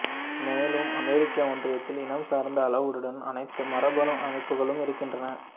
மேலும் அமெரிக்க ஒன்றியத்தில் இனம் சார்ந்த அளவுகளுடன் அனைத்து மரபணு அமைப்புகளும் இருக்கின்றன